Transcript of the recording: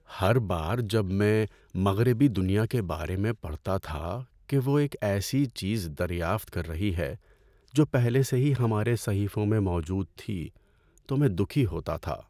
ہر بار جب میں مغربی دنیا کے بارے میں پڑھتا تھا کہ وہ ایک ایسی چیز 'دریافت' کر رہی ہے جو پہلے سے ہی ہمارے صحیفوں میں موجود تھی تو میں دکھی ہوتا تھا۔